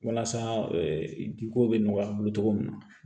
Walasa jiko bɛ nɔgɔya an bolo cogo min na